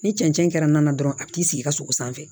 Ni cɛncɛn kɛra na dɔrɔn a b'i sigi i ka sogo sanfɛ